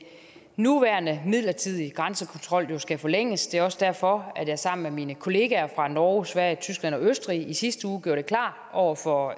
nuværende midlertidige grænsekontrol skal forlænges det er også derfor at jeg sammen med mine kollegaer fra norge sverige tyskland og østrig i sidste uge gjorde det klart over for